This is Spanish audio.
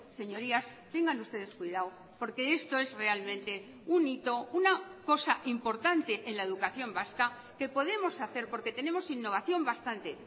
señorías tengan ustedes cuidado porque esto es realmente un hito una cosa importante en la educación vasca que podemos hacer porque tenemos innovación bastante